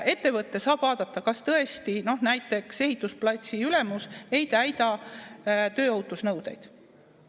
Ettevõte saab vaadata, kas tõesti näiteks ehitusplatsi ülemus ei täida tööohutusnõudeid.